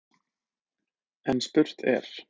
En spurt er: